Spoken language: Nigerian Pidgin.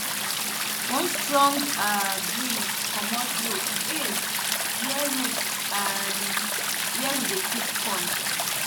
one strong um breeze comot roof um where roof um where we dey keep corn